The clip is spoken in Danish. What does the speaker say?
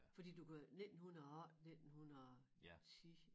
Fordi du kan 1908 1910